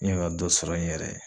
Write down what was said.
N mɛ ka dɔ sɔrɔ n yɛrɛ ye.